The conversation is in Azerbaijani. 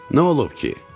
Nə olub ki?